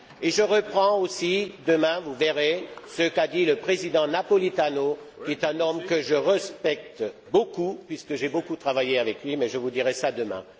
Je reprendrai aussi demain, vous verrez, ce qu'a dit le président Napolitano, qui est un homme que je respecte beaucoup car j'ai beaucoup travaillé avec lui, mais je vous dirai cela demain.